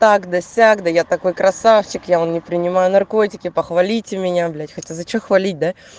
так да сяк да я такой красавчик я вон не принимаю наркотики похвалите меня блять хотя за что хвалить да